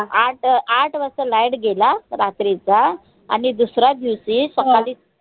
आट आट वाजता light गेला रात्रीचा आणि दुसऱ्या दिवशी सकाळी